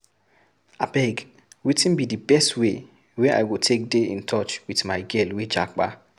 Abeg, wetin be di best way wey I go take dey in touch with my girl wey japa?